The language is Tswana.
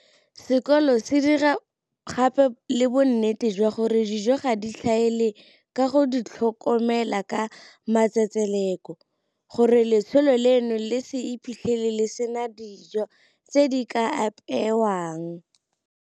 Sekolo se dira gape le bonnete jwa gore dijo ga di tlhaele ka go di tlhokomela ka matsetseleko, gore letsholo leno le se iphitlhele le sena dijo tse di ka apeewang.